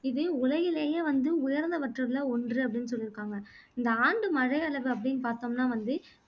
இதே உலகிலேயே வந்து உயர்ந்தவற்றதுல ஒன்று அப்படின்னு சொல்லிருக்காங்க இந்த ஆண்டு மழையளவு அப்படின்னு பார்த்தோம்னா வந்து